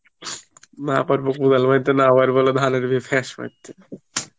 না পারব কোদাল বইতে না পারব ধানের